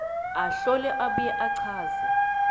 ahlole abuye achaze